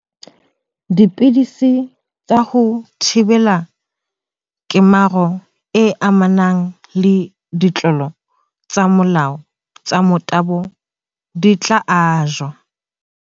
Dipidisi tsa ho thibela kemaro e amanang le ditlolo tsa molao tsa motabo di tla ajwa.